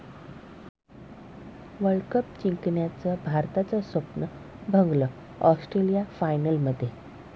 world cup जिंकण्याचं भारताचं स्वप्न भंगलं, ऑस्ट्रेलिया फायनलमध्ये